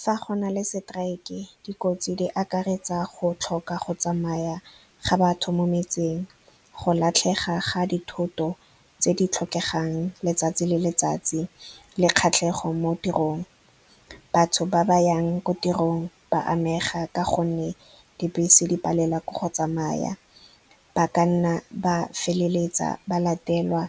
Fa go na le strike-e, dikotsi di akaretsa go tlhoka go tsamaya ga batho mo metseng, go latlhega ga dithoto tse di tlhokegang letsatsi le letsatsi, le kgatlhego mo tirong. Batho ba yang ko tirong ba amega ka gonne dibese di palelwa ke go tsamaya, ba ka nna ba feleletsa ba latelwa,